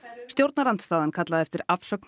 stjórnarandstaðan kallaði eftir afsögn